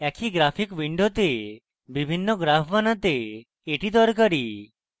একই graphic window বিভিন্ন graphs বানাতে এটি দরকারী